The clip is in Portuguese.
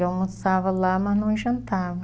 Eu almoçava lá, mas não jantava.